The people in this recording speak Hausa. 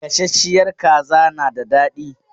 Gasasshiyar kaza na da dadi.